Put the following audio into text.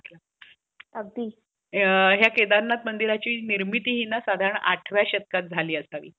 किंवा धुलीवंदनमध्ये भांग खाण्याची प्रथा असते. भारतात काही ठिकाणी होळीच्या दिवसामध्ये भांग पिण्याची प्रथा आहे. भांग एकमेकांना देऊन त्यांची मजा घेणे, हा एक त्या मागचा उद्दिष्ट असतो.